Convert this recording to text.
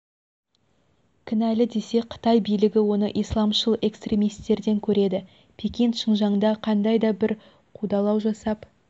кінәлі десе қытай билігі оны исламшыл экстремистерден көреді пекин шыңжаңда қандай да бір қудалау жасап